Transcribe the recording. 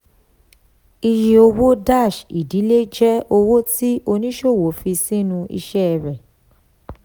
iye owó-ìdílé jẹ́ owó tí oníṣòwò fi sínú iṣẹ́ rẹ̀.